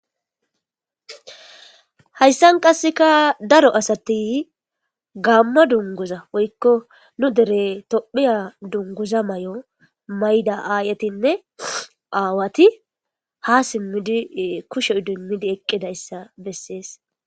hayssan qasseka daro asati gaamma dunguza woykko nu dere tophiya dunguza may7o mayda aayetinne aawati ha simmidi kushoy dummidi eqqidayssa bessees